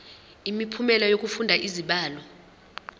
imiphumela yokufunda izibalo